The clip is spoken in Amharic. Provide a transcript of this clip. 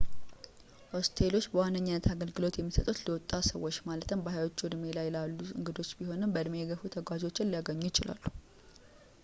ሆስቴሎች በዋነኛነት አገልግሎት የሚሰጡት ለወጣት ሰዎች ማለትም በሀያዎቹ እድሜ ላይ ላሉ እንግዳ ቢሆንም በእድሜ የገፉ ተጓዦችን ሊያገኙ ይችላሉ